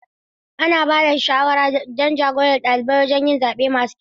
Ana ba da shawara don ja-gorar ɗalibai wajen yin zaɓe masu kyau.